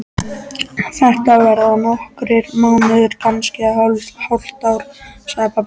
Þetta verða nokkrir mánuðir, kannski hálft ár, sagði pabbi.